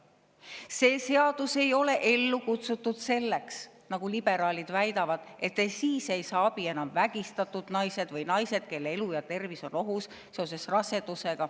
See seadus ei, nagu liberaalid väidavad, et siis ei saa enam abi vägistatud naised või naised, kelle elu ja tervis on raseduse tõttu ohus.